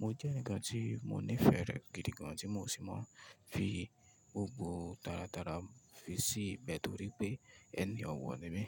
Mo jẹ́ eǹikan tí mo nífẹ̀ẹ́ rẹ̀ gidi gan, tí mo sì máa ń fi gbogbo tara tara fi sí i nítorí pé ẹni ọ̀wọ̀ ni mí.